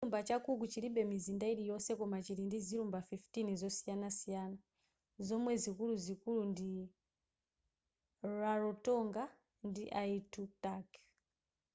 chilumba cha cook chilibe mizinda yiliyonse koma chili ndi zilumba 15 zosiyanasiyana zomwe zikululuzikulu ndi rarotonga ndi aitutaki